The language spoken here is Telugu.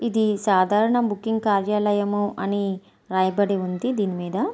ఇది సాధారణ బుకింగ్ కార్యాలయం అని రాయబడి ఉంది దీని మీద.